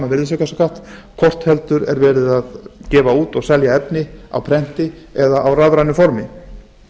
virðisaukaskatt hvort heldur verið er að gefa út og selja efni á prenti eða á rafrænu formi